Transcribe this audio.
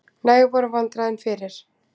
Næg voru vandræðin fyrir.